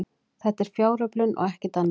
Þetta er fjáröflun og ekkert annað